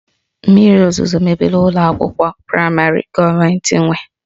Mmiri ozuzo mebiri ụlọ akwụkwọ praịmarị gọọmentị nwe